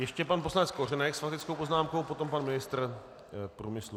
Ještě pan poslanec Kořenek s faktickou poznámkou, potom pan ministr průmyslu.